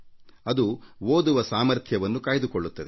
ಅದು ಓದುವ ಸಾಮರ್ಥ್ಯವನ್ನು ಕಾಯ್ದುಕೊಳ್ಳುತ್ತದೆ